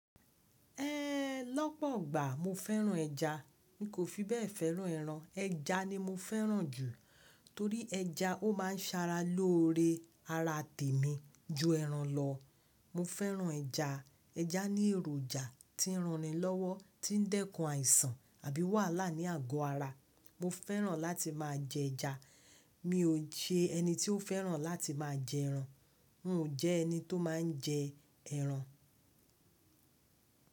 Eeeh, lọ́pọ̀ igbà mo fẹ́ràn ẹja. Mi kò fi bẹ́ẹ̀ fẹ́ràn ẹran. Ẹja ni mo fẹ́ràn jù torí ẹja ó máa ń sara lóore ara tèmi ju ẹran lọ. Mo fẹ́ràn ẹja. Ẹja ní èròjà tí ń ran ni lọ́wọ́, tí ń dẹ́kun àìsàn àbí wàhálà ní àgọ́ ara. Mo fẹ́ràn láti máa jẹ ẹja. Mi ò se ẹni tí ó fẹ́ràn láti máa jẹ ẹran. N ò jẹ ẹni tó máa ń jẹ ẹran.